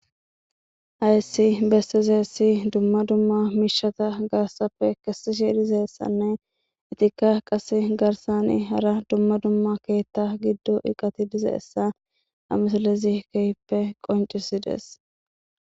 hayssi bessizeessi dumma dumma miishata garsappe kesishe dizeessanne itikka qase garsani hara dumma dumma keetta giddo eqati dizaessa amisalezikehppe qoncisides